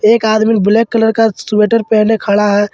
एक आदमीन black colour का स्वेटर पहने खड़ा है।